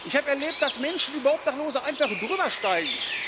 Ich habe erlebt, dass Menschen über Obdachlose einfach drübersteigen.